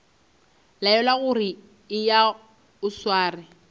laelwa gore eya o sware